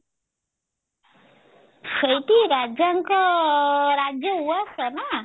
ସେଇଠି ରାଜାଙ୍କ ରାଜ ଉଆସ ନା